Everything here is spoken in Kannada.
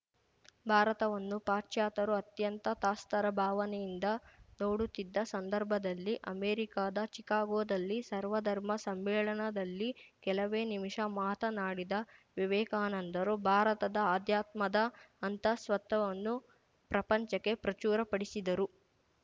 ಭಾರತವನ್ನು ಪಾಶ್ಚಾತ್ಯರು ಅತ್ಯಂತ ತಾಸ್ತಾರ ಭಾವನೆಯಿಂದ ನೋಡುತ್ತಿದ್ದ ಸಂದರ್ಭದಲ್ಲಿ ಅಮೇರಿಕಾದ ಚಿಕಾಗೊದಲ್ಲಿ ಸರ್ವಧರ್ಮ ಸಮ್ಮೇಳನದಲ್ಲಿ ಕೆಲವೇ ನಿಮಿಷ ಮಾತನಾಡಿದ ವಿವೇಕಾನಂದರು ಭಾರತದ ಆಧ್ಯಾತ್ಮದ ಅಂತಃಸತ್ವವನ್ನು ಪ್ರಪಂಚಕ್ಕೇ ಪ್ರಚುರಪಡಿಸಿದರು